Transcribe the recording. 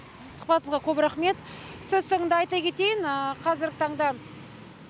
сұхбатыңызға көп рақмет сөз соңында айта кетейін қазіргі таңда